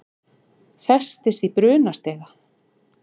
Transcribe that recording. Festist í brunastiga